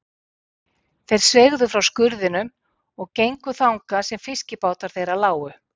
Þeir sveigðu frá skurðinum og gengu þangað sem fiskibátar þeirra lágu.